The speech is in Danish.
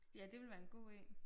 Ja det ville være en god én